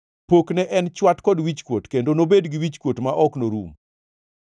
Pokne en chwat kod wichkuot kendo nobed gi wichkuot ma ok norum.